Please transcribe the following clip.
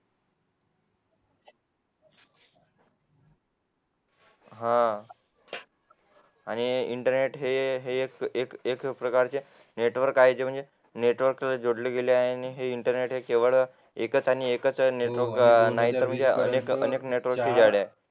हा हा आणि इंटरनेट हे हे एक एक प्रकारचे नेटवर्क आहे जे म्हणजे नेटवर्क ला जोडले गेले आहे इंटरनेट केव्हा एकच आणि एकच एकच नाही तर अनेक नेटवर्कला जोडले गेले आहे